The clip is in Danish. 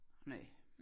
Næ